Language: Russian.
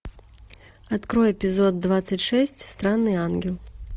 открой эпизод двадцать шесть странный ангел